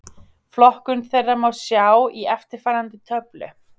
Flokkun þeirra má sjá í eftirfarandi töflu: